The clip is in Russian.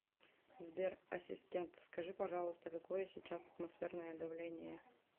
сбер ассистент скажи пожалуйста какое сейчас атмосферное давление